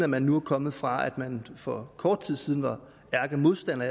man nu er kommet fra at man for kort tid siden var ærkemodstander